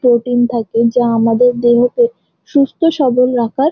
Protein থাকে যা আমাদের দেহকে সুস্থ সবল রাখার।